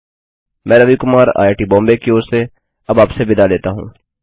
मैं रवि कुमार आईआईटीबॉम्बे की ओर अब आपसे विदा लेता हूँ